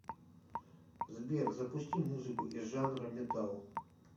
сбер запусти музыку из жанра металл